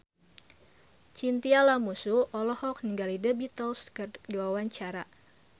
Chintya Lamusu olohok ningali The Beatles keur diwawancara